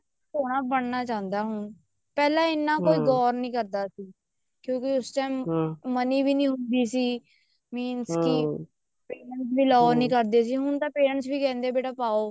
ਸੋਹਣਾ ਬਣਨਾ ਚਾਹੁੰਦਾ ਹੁਣ ਪਹਿਲਾਂ ਇੰਨਾ ਕੋਈ ਗੋਰ ਨੀ ਕਰਦਾ ਸੀ ਕਿਉਂਕਿ ਉਸ time money ਵੀ ਨੀ ਹੁੰਦੀ ਸੀ means ਕੀ parents ਵੀ allow ਨੀ ਕਰਦੇ ਸੀ ਹੁਣ ਤਾਂ parents ਵੀ ਕਹਿੰਦੇ ਨੇ ਵੀ ਪਾਓ